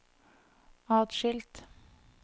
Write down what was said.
atskilt